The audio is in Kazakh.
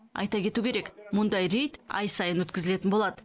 айта кету керек мұндай рейд ай сайын өткізілетін болады